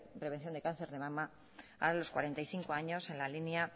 prevención de cáncer de mama a los cuarenta y cinco años en la línea